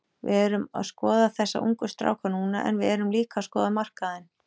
Við erum að skoða þessa ungu stráka núna en við erum líka að skoða markaðinn.